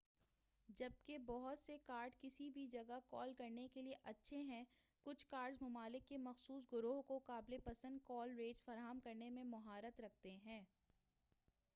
جبکہ بہت سے کارڈز کسی بھی جگہ کال کرنے کے لیے اچھّے ہیں کُچھ کارڈز مُمالک کے مخصوص گروہوں کو قابلِ پسند کال ریٹس فراہم کرنے میں مہارت رکھتے ہیں